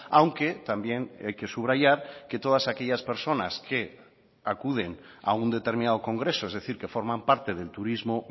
aunque también hay que subrayar que todas aquellas personas que acuden a un determinado congreso es decir que forman parte del turismo